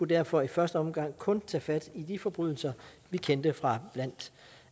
derfor i første omgang kun tage fat i de forbrydelser vi kender fra blandt